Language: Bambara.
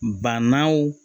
Bannaw